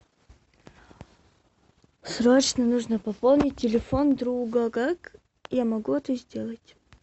срочно нужно пополнить телефон друга как я могу это сделать